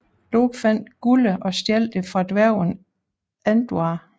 Loke fandt guldet og stjal det fra dværgen Andvare